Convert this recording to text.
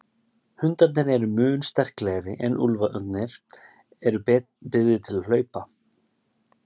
hundarnir eru mun sterklegri en úlfarnir eru betur byggðir til hlaupa